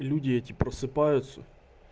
люди эти просыпаются